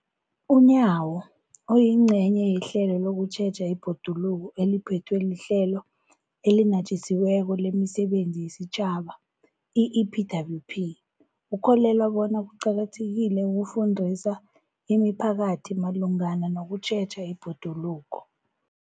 UNyawo, oyingcenye yehlelo lokutjheja ibhoduluko eliphethwe liHlelo eliNatjisi weko lemiSebenzi yesiTjhaba, i-EPWP, ukholelwa bona kuqakathekile ukufundisa imiphakathi malungana nokutjheja ibhoduluko.